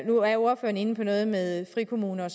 nu er ordføreren inde på noget med frikommuner